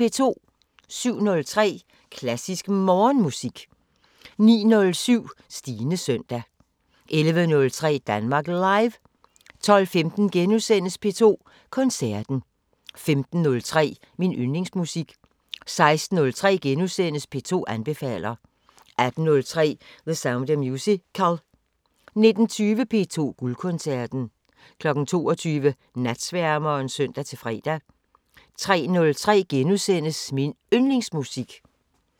07:03: Klassisk Morgenmusik 09:07: Stines søndag 11:03: Danmark Live 12:15: P2 Koncerten * 15:03: Min Yndlingsmusik 16:03: P2 anbefaler * 18:03: The Sound of Musical 19:20: P2 Guldkoncerten 22:00: Natsværmeren (søn-fre) 03:03: Min Yndlingsmusik *